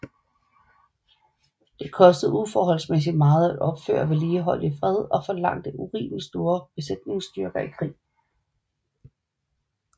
De kostede uforholdsmæssig meget at opføre og vedligeholde i fred og forlangte urimelig store besætningsstyrker i krig